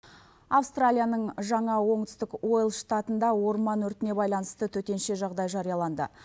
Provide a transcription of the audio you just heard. австралияның жаңа оңтүстік уел штатында орман өртіне байланысты төтенше жағдай жарияланды